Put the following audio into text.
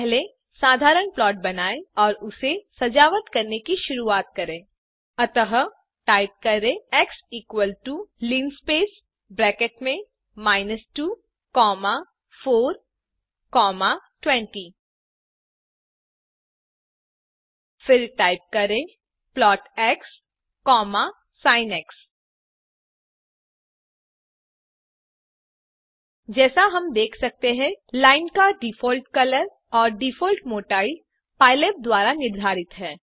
पहले साधारण प्लॉट बनाएँ और उसे सजावट करने की शुरूवात करें अतः टाइप करें x is equal to linspace brackets में 2420 फिर टाइप करें plotxसिन जैसा हम देख सकते हैं लाइन का डिफॉल्ट कलर और डिफॉल्ट मोटाई पाइलैब द्वारा निर्धारित है